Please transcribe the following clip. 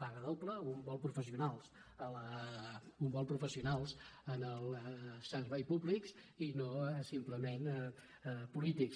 paga doble un vol pro·fessionals en el servei públic i no simplement polí·tics